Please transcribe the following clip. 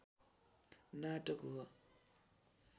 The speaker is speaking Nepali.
नाटक हो